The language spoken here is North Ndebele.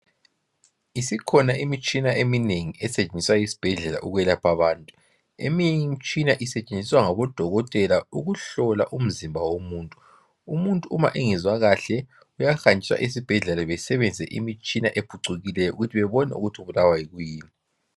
Isikhona imitshina eminengi esetshenziswa esibhedlela ukulapha abantu eminye imitshina isetshenziswa ngaba dokotela ukuhlola umizimba womuntu, umuntu uma engezwa kahle uyahanjiswa esibhedlela besebenzise imitshina ephucukileyo ukuthi babone ukuthi ubulawa yikuyini.